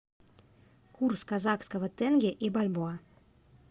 курс казахского тенге и бальбоа